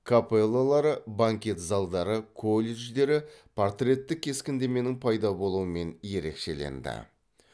капеллалары банкет залдары колледждері портреттік кескіндеменің пайда болуымен ерекшеленді